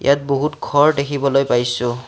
ইয়াত বহুত ঘৰ দেখিবলৈ পাইছোঁ।